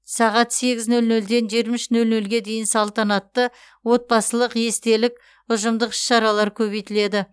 сағат сегіз нөл нөлден жиырма үш нөл нөлге дейін салтанатты отбасылық естелік ұжымдық іс шаралар көбейтіледі